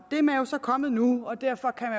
er man jo så kommet nu og derfor kan